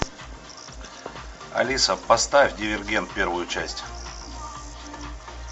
алиса поставь дивергент первую часть